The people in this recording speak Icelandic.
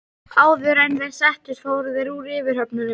Áður en þeir settust fóru þeir úr yfirhöfnunum.